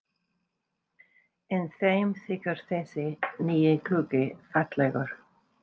En þeim þykir þessi nýi gluggi fallegur.